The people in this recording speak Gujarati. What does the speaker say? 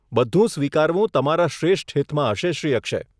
બધું સ્વીકારવું તમારા શ્રેષ્ઠ હિતમાં હશે, શ્રી અક્ષય.